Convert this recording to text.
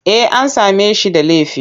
Eh an same shi da laifi.